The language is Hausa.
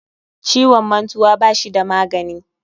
Ciwon mantuwa bashi da magani